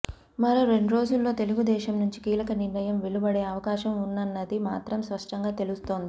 మరో రెండ్రోజుల్లో తెలుగుదేశం నుంచి కీలక నిర్ణయం వెలువడే అవకాశం ఉందన్నది మాత్రం స్పష్టంగా తెలుస్తోంది